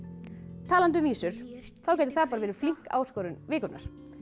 talandi um vísur þá gæti það verið flink áskorun vikunnar